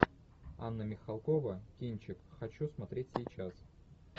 анна михалкова кинчик хочу смотреть сейчас